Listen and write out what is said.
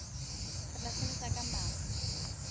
re tla sebetsa ka matla